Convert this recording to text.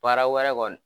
Baara wɛrɛ kɔni